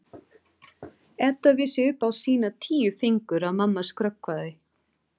Edda vissi upp á sína tíu fingur að mamma skrökvaði.